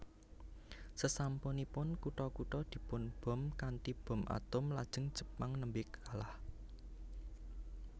Sasampunipun kutha kutha dipunbom kanthi bom atom lajeng Jepang nembe kalah